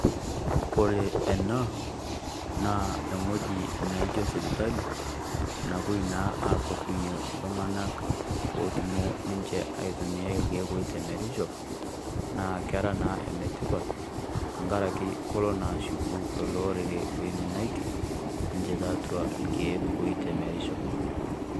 Kore ena, naa ewueji naijo sipitali, nawuoi naa akordunye iltung'ana otumoo ninche aitumia ilkeek oitemerisho, naa kera naa enetipat tenkarake kelo naa ashuku lelo orere oiminaite ninche tolkeek oitemerisho.